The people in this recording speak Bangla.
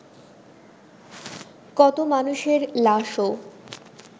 কত মানুষের লাশও